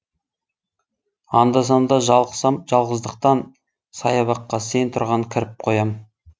анда санда жалықсам жалғыздықтан саябаққа сен тұрған кіріп қоям